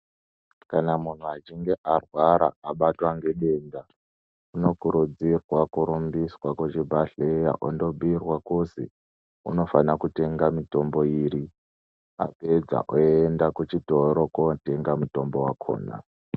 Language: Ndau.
Kana munhu achinge arwara abatwa ngedenda unokurudzirwa kurumbiswa kuchibhedhlera ondobhuirwa kuzi unofana kutenga mitombo iri, apedza oenda kuchitoro kotenga mutombo wakhona.